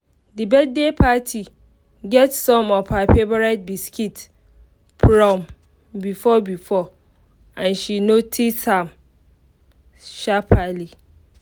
the birthday party get some of her favourite biscuits from before before and she notice am sharperly